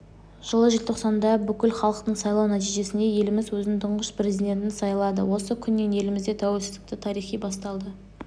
жылы желтоқсанда бүкілхалықтық сайлау нәтижесінде еліміз өзінің тұңғыш президентін сайлады осы күннен елімізде тәуелсіздік тарихы басталды